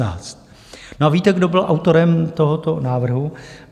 No a víte, kdo byl autorem tohoto návrhu?